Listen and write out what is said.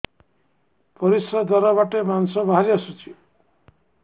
ପରିଶ୍ରା ଦ୍ୱାର ବାଟେ ମାଂସ ବାହାରି ଆସୁଛି